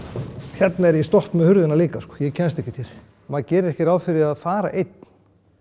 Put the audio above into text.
hérna er ég stopp með hurðina líka ég kemst ekkert hér maður gerir ekki ráð fyrir að fara einn